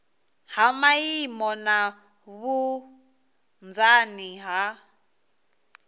ha maimo na vhunzani ha